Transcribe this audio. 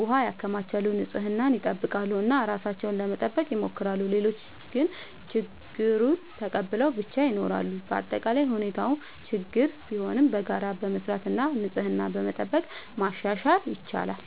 ውሃ ያከማቻሉ፣ ንጽህናን ይጠብቃሉ እና ራሳቸውን ለመጠበቅ ይሞክራሉ። ሌሎች ግን ችግኙን ተቀብለው ብቻ ይኖራሉ። በአጠቃላይ ሁኔታው ችግኝ ቢሆንም በጋራ በመስራት እና ንጽህናን በመጠበቅ ማሻሻል ይቻላል።